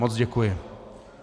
Moc děkuji.